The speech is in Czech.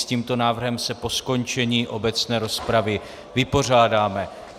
S tímto návrhem se po skončení obecné rozpravy vypořádáme.